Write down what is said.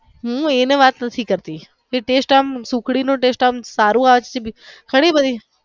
હમ્મ હું એને વાત નથી કરતી જે taste આમ સુખડી નો taste આમ સારો આ વખતે અરે ભાઈ.